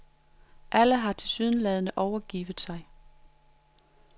Alle har tilsyneladende overgivet sig.